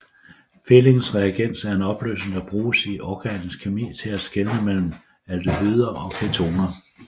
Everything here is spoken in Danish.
Fehlings reagens er en opløsning der bruges i organisk kemi til at skelne mellem aldehyder og ketoner